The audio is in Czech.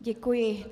Děkuji.